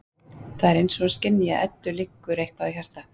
Það er eins og hún skynji að Eddu liggur eitthvað á hjarta.